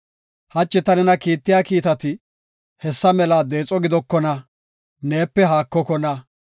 Hachi ta nena kiittiya kiitati hessa mela deexo gidokona; neepe haakokona.